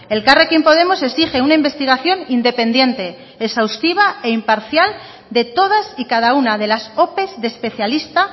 elkarrekin podemos exige una investigación independiente exhaustiva e imparcial de todas y cada una de las ope de especialista